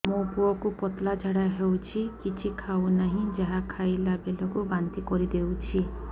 ମୋ ପୁଅ କୁ ପତଳା ଝାଡ଼ା ହେଉଛି କିଛି ଖାଉ ନାହିଁ ଯାହା ଖାଇଲାବେଳକୁ ବାନ୍ତି କରି ଦେଉଛି